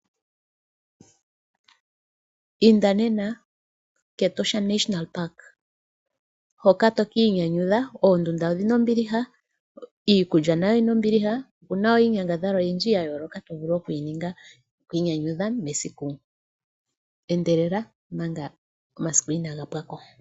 Inda nena kEtosha National Park hoka tokiinyanyudha oondunda niikulya oyina ombiliha okuna woo inyangadhalwa oyindji tovulu okwiinyanyudha mesiku. Endelela manga omasiku inaga pwako.